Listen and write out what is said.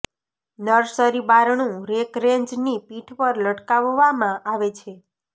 nursery બારણું rack range ની પીઠ પર લટકાવવામાં આવે છે